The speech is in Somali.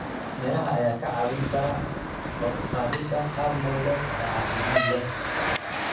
Miraha ayaa kaa caawin kara kor u qaadida qaab nololeed caafimaad leh.